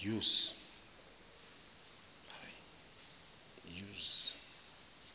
use